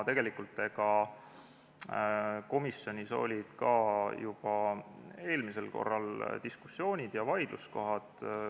Tegelikult, komisjonis olid ka juba eelmisel korral diskussioonid ja vaidluskohad.